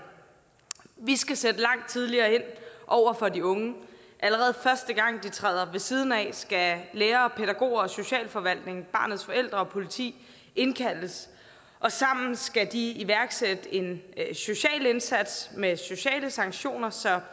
vi skal sætte langt tidligere ind over for de unge allerede første gang de træder ved siden af skal lærere og pædagoger og socialforvaltningen barnets forældre og politiet indkaldes og sammen skal de iværksætte en social indsats med sociale sanktioner så